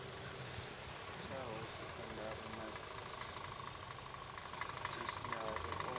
litshaho sekondari na theshiari a